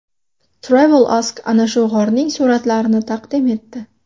TravelAsk ana shu g‘orning suratlarini taqdim etdi .